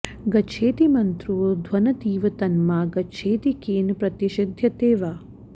गच्छेति मन्त्रो ध्वनतीव तन्मा गच्छेति केन प्रतिषिद्ध्यते वा